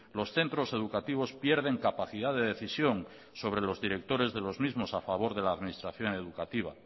los centros educativos pierden capacidad de decisión sobre los directores de los mismos a favor de la administración educativa